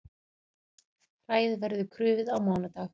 Hræið verður krufið á mánudag